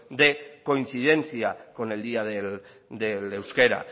de coincidencia con el día del euskera